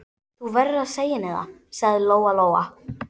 Þú verður að segja henni það, sagði Lóa-Lóa.